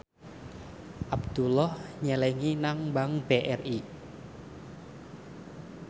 Abdullah nyelengi nang bank BRI